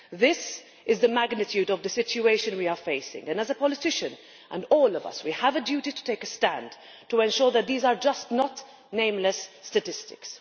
This is the magnitude of the situation we are facing and, as politicians, all of us have a duty to take a stand to ensure that these are not just nameless statistics.